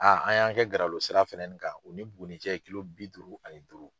an y'an kɛ Garalo sira fɛnɛni kan u ni Buguni cɛ ye bi duuru ani duuru.